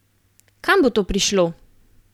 Kam bo to prišlo?